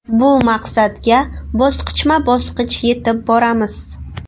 Bu maqsadga bosqichma-bosqich yetib boramiz.